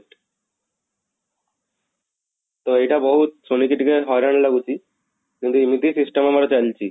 ତ ଏଇଟା ବହୁତ ଶୁଣିକି ଟିକେ ହଇରାଣ ଲାଗୁଛି କିନ୍ତୁ ଏମିତି system ଆମର ଚାଲିଛି